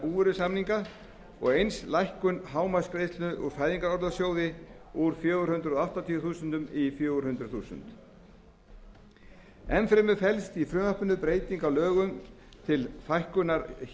búvörusamninga og eins lækkun hámarksgreiðslu úr fæðingarorlofssjóði úr fjögur hundruð áttatíu þúsund krónur í fjögur hundruð þúsund krónur enn fremur felst í frumvarpinu breyting á lögum til fækkunar